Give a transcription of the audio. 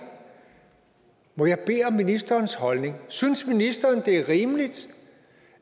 må jeg bede om ministerens holdning synes ministeren det er rimeligt